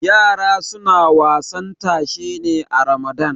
yara suna wasan tashe ne a ramadan